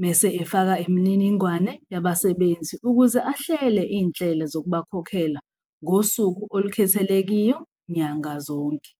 mese efaka imininingwane yabasebenzi ukuze ahlele iy'nhlelo zokubakhokhela ngosuku olukhethelekiyo nyanga zonke.